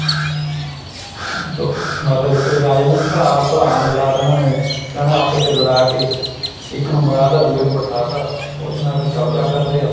ਲੋ ਬੱਸ ਇੱਦਾਂ ਭਰਾ ਭਰਾ ਨਾਲ ਲੜਾ ਦੇਣਾ ਇਹਨਾ ਨੇ ਠੀਕ ਆ ਨਾ ਆਪਸ ਚ ਲੜਾ ਕੇ ਇੱਕ ਨੂੰ ਮਰਾ ਤਾਂ ਦੂਜੇ ਨੂੰ ਬਿਠਾ ਤਾਂ ਉਹਦੇ ਨਾਲ ਫ਼ਿਰ ਕਬਜਾ ਕਰ ਲਿਆ